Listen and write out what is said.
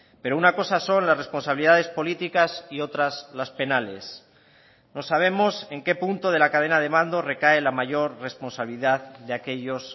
pero una cosa son las responsabilidades políticas y otras las penales no sabemos en qué punto de la cadena de mando recae la mayor responsabilidad de aquellos